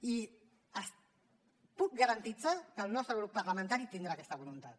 i els puc garantir que el nostre grup parlamentari tindrà aquesta voluntat